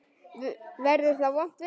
Verður þá vont veður?